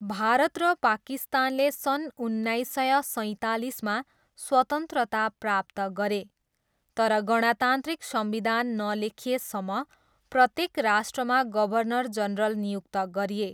भारत र पाकिस्तानले सन् उन्नाइस सय सैँतालिसमा स्वतन्त्रता प्राप्त गरे, तर गणतन्त्रिक संविधान नलेखिएसम्म प्रत्येक राष्ट्रमा गभर्नर जनरल नियुक्त गरिए।